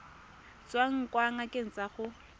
tswang kwa ngakeng ya gago